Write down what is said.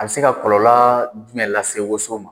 A bi se ka kɔlɔlɔ jumɛn lase woson ma ?